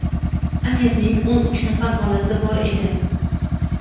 Amirning o‘n uch nafar bolasi bor edi).